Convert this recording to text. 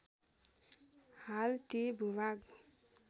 हाल ती भूभाग